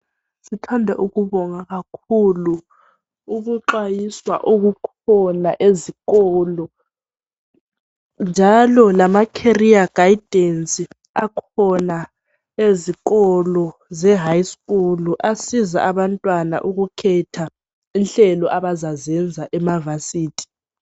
Sithanda ukubonga kakhulu ukuxwayiswa okukhona ezikolo njalo lama"career guidance " akhona ezikolo ze" High scool" asiza abantwana ukukhetha inhlelo abazazenza ema"Varsity".